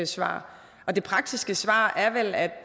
svar det praktiske svar er vel at